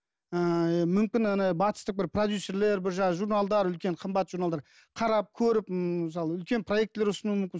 ыыы мүмкін ана батыстық бір продюссерлер бір жаңа журналдар үлкен қымбат журналдар қарап көріп мысалы үлкен проектілер ұсынуы мүмкін